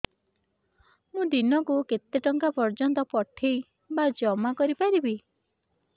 ମୁ ଦିନକୁ କେତେ ଟଙ୍କା ପର୍ଯ୍ୟନ୍ତ ପଠେଇ ବା ଜମା କରି ପାରିବି